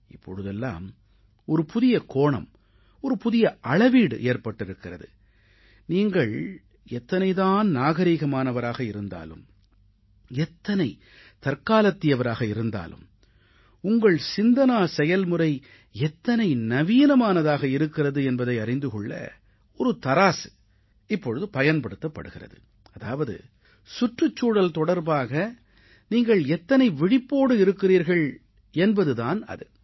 இப்பொழுதெல்லாம் ஒரு புதிய கோணம் ஒரு புதிய அளவீடு ஏற்பட்டிருக்கிறது நீங்கள் எத்தனை தான் நாகரீகமானவராக இருந்தாலும் எத்தனை தற்காலத்தியவராக இருந்தாலும் உங்கள் சிந்தனா செயல்முறை எத்தனை நவீனமானதாக இருக்கிறது என்பதை அறிந்து கொள்ள ஒரு தராசு இப்பொழுது பயன்படுத்தப்படுகிறது அதாவது சுற்றுச்சூழல் தொடர்பாக நீங்கள் எத்தனை விழிப்போடு இருக்கிறீர்கள் என்பது தான் அது